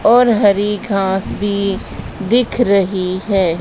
और हरी घास भी दिख रही है।